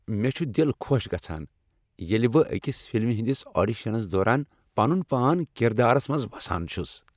مےٚ چھ دل خۄش گژھان ییٚلہ بہٕ أکس فلمہ ہٕندس آڈیشنس دوران پنن پان کردارس منز وسان چھُس۔